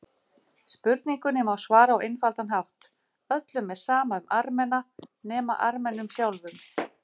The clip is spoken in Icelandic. Spurningunni má svara á einfaldan hátt: Öllum er sama um Armena, nema Armenum sjálfum.